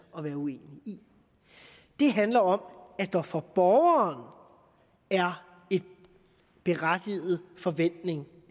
at være uenig i det handler om at der for borgeren er en berettiget forventning